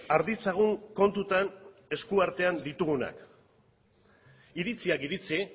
har ditzagun kontutan esku artean ditugunak iritziak iritzi